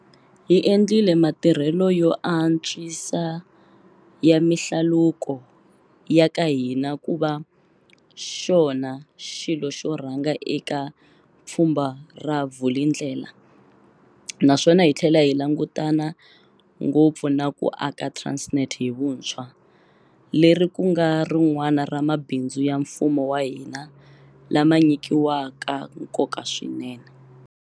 Hi endlile matirhelo yo ants wisa ya mihlaluko ya ka hina ku va xona xilo xo rhanga eka Pfhumba ra Vulindlela naswona hi tlhela hi langutana ngopfu na ku aka Transnet hi vuntshwa, leri ku nga rin'wana ra mabindzu ya mfumo wa hina lama nyikiwaka nkoka swinene.